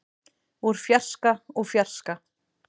úr fjarska úr fjarska.